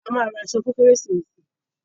A máa ra aṣọ fún kérésìmesì.